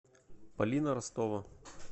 полина ростова